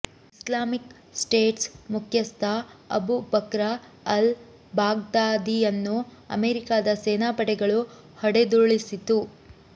Islamic states ಮುಖ್ಯಸ್ಥ Abu Bakr al ಬಾಗ್ದಾದಿಯನ್ನು ಅಮೆರಿಕಾದ ಸೇನಾಪಡೆಗಳು ಹೊಡೆದುರುಳಿಸಿತು